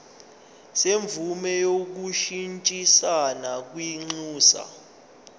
semvume yokushintshisana kwinxusa